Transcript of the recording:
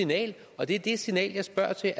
signal og det er det signal jeg spørger til